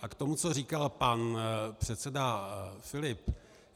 A k tomu, co říkal pan předseda Filip.